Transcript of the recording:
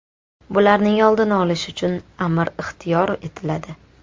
Bularning oldini olish uchun amir ixtiyor etiladi.